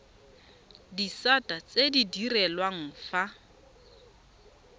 disata tse di direlwang fa